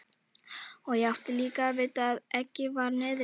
Og ég átti líka að vita að eggið var niðri.